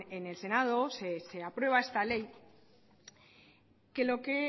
en el senado se aprueba esta ley que lo que